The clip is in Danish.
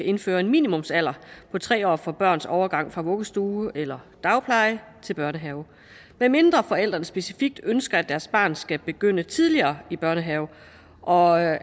indføre en minimumsalder på tre år for børns overgang fra vuggestue eller dagpleje til børnehave medmindre forældrene specifikt ønsker at deres barn skal begynde tidligere i børnehave og